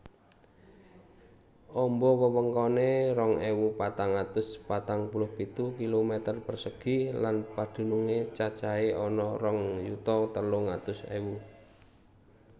Amba wewengkoné rong ewu patang atus patang puluh pitu kilometer persegi lan padunungé cacahé ana rong yuta telung atus ewu